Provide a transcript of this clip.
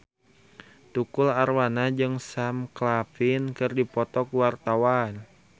Tukul Arwana jeung Sam Claflin keur dipoto ku wartawan